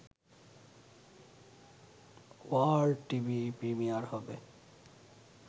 world TV premiere হবে